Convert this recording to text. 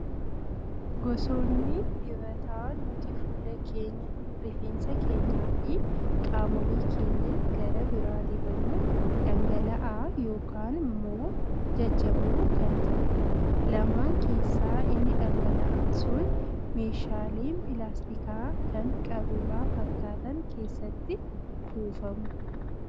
Gosoonni dibataa nuti fuula keenya, rifeensa keenyaa fi qaamolee keenya gara biraa dibannu dhangala'aa yookaan immoo jajjaboo kan ta'udha. Lamaan keessaa inni dhangala'aan sun meeshaalee pilaastikaa kan qaruuraa fakkaatan keessatti kuufamu.